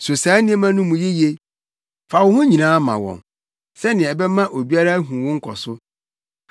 So saa nneɛma no mu yiye. Fa wo ho nyinaa ma wɔn, sɛnea ɛbɛma obiara ahu wo nkɔso.